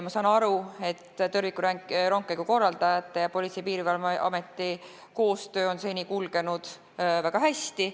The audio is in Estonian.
Ma olen aru saanud, et tõrvikurongkäigu korraldajate ning Politsei- ja Piirivalveameti koostöö on seni kulgenud väga hästi.